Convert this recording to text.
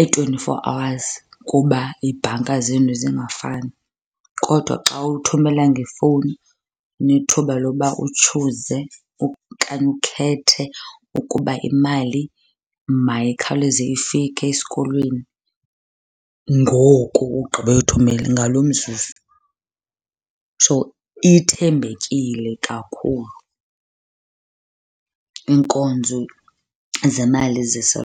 i-twenty-four hours kuba iibhanka zenu zingafani. Kodwa xa uthumela ngefowuni unethuba loba utshuze okanye ukhethe ukuba imali mayikhawuleze ifike esikolweni ngoku ugqiba uyithumela, ngalo mzuzu. So ithembekile kakhulu iinkonzo zemali .